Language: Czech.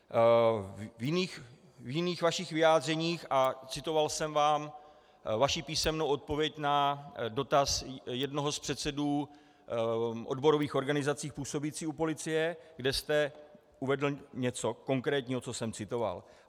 V jiných vašich vyjádřeních, a citoval jsem vám vaši písemnou odpověď na dotaz jednoho z předsedů odborových organizací působících u policie, kde jste uvedl něco konkrétního, co jsem citoval.